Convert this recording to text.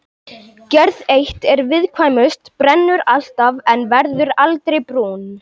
Gerð eitt er viðkvæmust, brennur alltaf en verður aldrei brún.